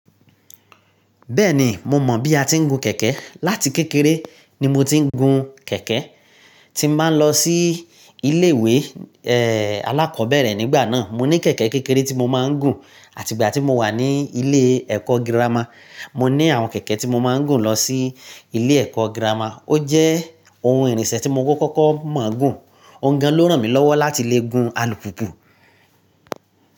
Bẹ́ẹ̀ni mo mọ̀ bí a ti ń gun kẹ̀kẹ́. Láti kékeré ni mo ti ń gun kẹ̀kẹ́. Tín bá ń lọ sí ilé ìwé, ẹ́, alákọ̀ọ́bẹ̀rẹ̀ nígbà náà, mo ní kẹ̀kẹ́ kékeré tí mo máa ń gùn àti ìgbà tí mo wà ní ilé ẹ̀kọ́ girama, mo ní àwọn kẹ̀kẹ́ tí mo máa ń gùn lọ sí ilé ẹ̀kọ́ girama. Ó jẹ́ ohun ìrìnṣẹ̀ tí mo kọ́kọ́ mọ̀ gùn. Òǹgàn ló ràn mí lọ́wọ́ láti le gun alùpùpù.